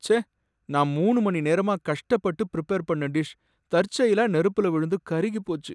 ச்சே, நான் மூணு மணி நேரமா கஷ்டப்பட்டு ப்ரிபேர் பண்ண டிஷ் தற்செயலா நெருப்புல விழுந்து கருகிப்போச்சு!